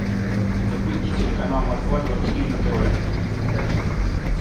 запусти телеканал москва двадцать четыре на тв